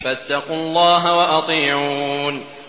فَاتَّقُوا اللَّهَ وَأَطِيعُونِ